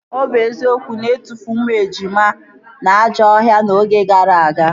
Ọ bụ eziokwu na etufuru ụmụ ejima na ajọ ọhịa oge gara aga?